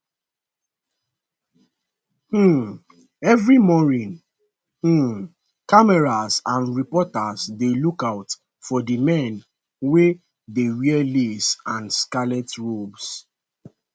um evri morning um cameras and reporters dey lookout for di men wey dey wear lace and scarlet robes